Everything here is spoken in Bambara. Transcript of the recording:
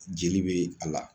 Jeli be a la